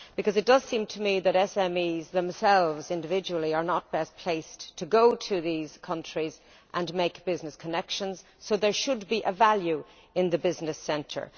It seems to me that SMEs themselves, individually, are not best placed to go to these countries and make business connections, so there should be a value in the business centre.